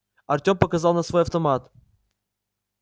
артём показал на свой автомат